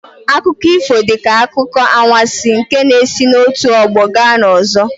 Akụkọ ifo dị ka akụkọ anwansi nke na-esi n'otu ọgbọ gaa n'ọzọ.